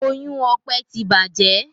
Oyún Ọpẹ tí bàjé.